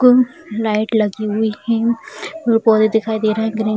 कुम लाइट लगी हुई हैं और दिखाई दे रहे हैं ग्रीन --